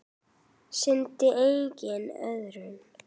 Sýndi enginn iðrun?